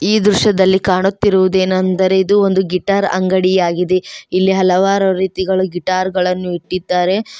ಈ ದೃಶ್ಯದಲ್ಲಿ ಕಾಣುತ್ತಿರುವುದೇನೆಂದರೆ ಇದು ಒಂದು ಗಿಟಾರ್ ಅಂಗಡಿ ಆಗಿದೆ ಇಲ್ಲಿ ಹಲವಾರು ರೀತಿಗಳು ಗಿಟಾರ್ ಗಳನ್ನು ಇಟ್ಟಿದ್ದಾರೆ.